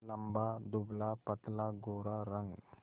लंबा दुबलापतला गोरा रंग